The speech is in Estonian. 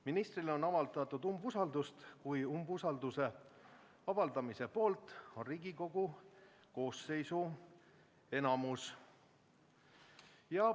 Ministrile on avaldatud umbusaldust, kui umbusalduse avaldamise poolt on Riigikogu koosseisu enamus.